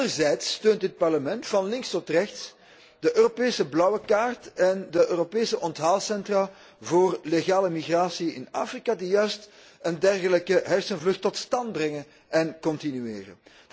Anderzijds steunt dit Parlement van links tot rechts de Europese blauwe kaart en de Europese onthaalcentra voor legale migratie in Afrika die juist een dergelijke hersenvlucht tot stand brengen en continueren.